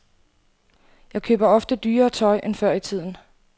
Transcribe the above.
Jeg køber ofte dyrere tøj end før i tiden.